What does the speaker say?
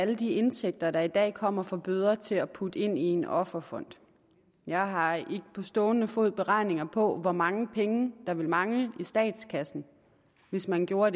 alle de indtægter der i dag kommer fra bøder til at putte ind i en offerfond jeg har ikke på stående fod beregninger på hvor mange penge der ville mangle i statskassen hvis man gjorde